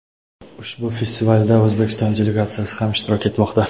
ushbu festivalda O‘zbekiston delegatsiyasi ham ishtirok etmoqda.